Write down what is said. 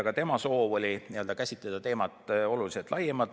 Ka tema soov oli käsitleda teemat oluliselt laiemalt.